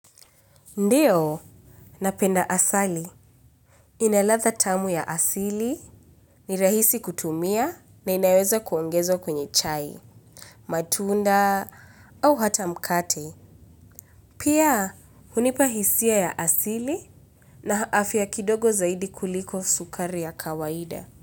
Ndiyo, napenda asali. Inaladha tamu ya asili, ni rahisi kutumia, na inaweza kuongezwa kwenye chai, matunda, au hata mkate. Pia, hunipa hisia ya asili na afya kidogo zaidi kuliko sukari ya kawaida.